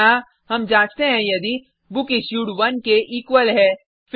यहाँ हम जांचते हैं यदि बुकिश्यूड 1 के इक्वल है